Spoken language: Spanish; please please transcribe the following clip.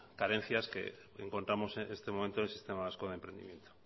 carencias que encontramos en este momento en el sistema vasco de emprendimiento